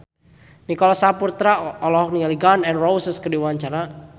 Nicholas Saputra olohok ningali Gun N Roses keur diwawancara